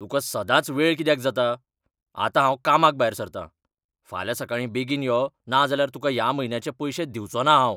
तुका सदांच वेळ कित्याक जाता ? आतां हांव कामाक भायर सरता! फाल्यां सकाळीं बेगीन यो ना जाल्यार तुका ह्या म्हयन्याचें पयशें दिवचो ना हांव.